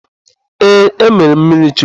Ee, emeela m mmirichukwu.